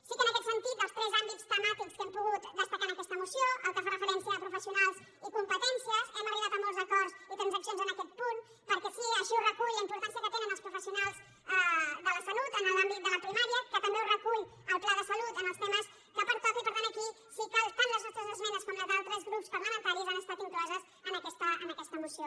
sí que en aquest sentit dels tres àmbits temàtics que hem pogut destacar en aquesta moció al que fa referència a professionals i competències hem arribat a molts acords i transaccions en aquest punt perquè així ho recull la importància que tenen els professionals de la salut en l’àmbit de la primària que també ho recull el pla de salut en els temes que pertoca i per tant aquí sí que tant les nostres esmenes com les dels altres grups parlamentaris han estat incloses en aquesta moció